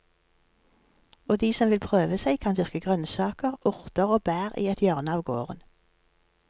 Og de som vil prøve seg kan dyrke grønnsaker, urter og bær i et hjørne av gården.